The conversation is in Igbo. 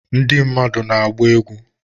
Ndị mmadụ na-agba egwu